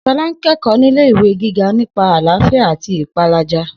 S̩o̩lá ń ké̩kò̩ó̩ nílé ìwé gíga nípa àláfíà àti ìpálàjà